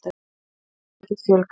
Gjaldþrotum fyrirtækja fjölgar enn